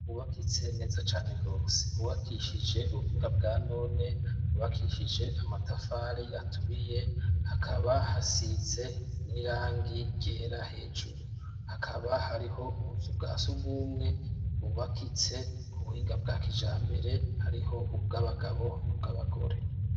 bubakitse neza cane gose hubakishije ubuhinga bwa none bubakishije amatafari aturiye hakaba hasize n'irangi ryera hejuru hakaba hariho ubuzu bwa sugumwe bubakitse ubuhinga bwa kijambere hariho ubw'abagabo nobw'abagore.